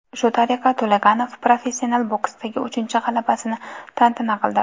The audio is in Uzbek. Shu tariqa To‘laganov professional boksdagi uchinchi g‘alabasini tantana qildi.